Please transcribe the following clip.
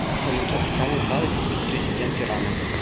салют официальный сайт президент ирана